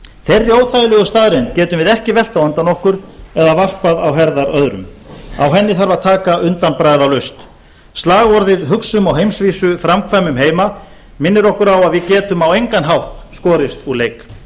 þeirri óþægilegu staðreynd getum við ekki velt á undan okkur eða varpað á herðar öðrum á henni þarf að taka undanbragðalaust slagorðið hugsum á heimsvísu framkvæmum heima minnir okkur á að við getum á engan hátt skorist úr leik